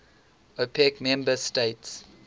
opec member states